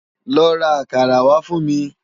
Lò rá àkàrá wá fun mi